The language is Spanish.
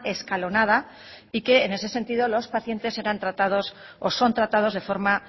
escalonada y que en ese sentido los pacientes eran tratados o son tratados de forma